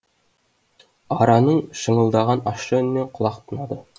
араның шыңылдаған ащы үнінен құлақ тұнады